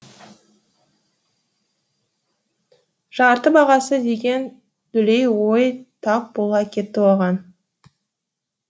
жарты бағасы деген дүлей ой тап бола кетті оған